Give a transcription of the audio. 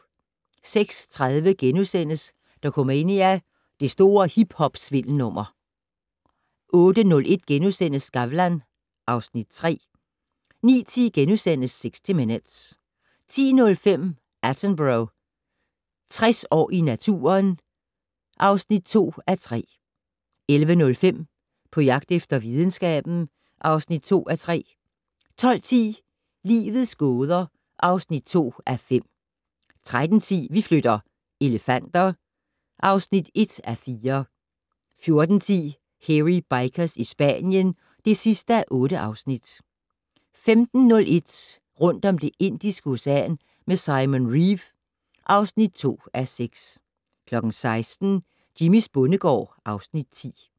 06:30: Dokumania: Det store hiphop-svindelnummer * 08:01: Skavlan (Afs. 3)* 09:10: 60 Minutes * 10:05: Attenborough - 60 år i naturen (2:3) 11:05: På jagt efter videnskaben (2:3) 12:10: Livets gåder (2:5) 13:10: Vi flytter - elefanter (1:4) 14:10: Hairy Bikers i Spanien (8:8) 15:01: Rundt om Det Indiske Ocean med Simon Reeve (2:6) 16:00: Jimmys bondegård (Afs. 10)